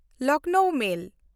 ᱞᱚᱠᱷᱱᱚᱣ ᱢᱮᱞ